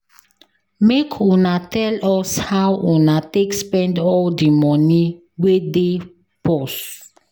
Make una tell us how una take spend all di moni wey dey purse.